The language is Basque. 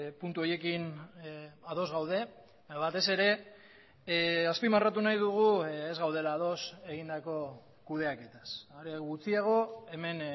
puntu horiekin ados gaude batez ere azpimarratu nahi dugu ez gaudela ados egindako kudeaketaz are gutxiago hemen